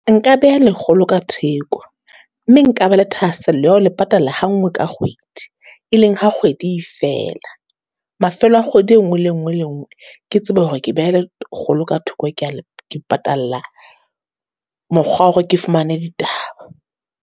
Nka beha lekgolo ka theko, mme nka ba le thahasello ya hao le patala ha ngoe ka kgwedi, e leng ha kgwedi e fela. Mafelo a kgwedi e nngwe le e nngwe le e nngwe, ke tsebe hore ke beha lekgolo ka thoko, ke ya ke patalla mokgwa o hore ke fumane ditaba.